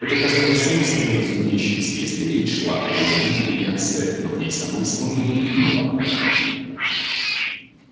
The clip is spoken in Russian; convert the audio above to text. это казалось само собой разумеющимся если речь шла о её матери и отце но к ней самой словно бы не имело отношения